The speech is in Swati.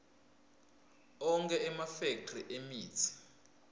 onkhe emafekthri emitsi